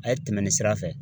A ye tɛmɛ nin sira fɛ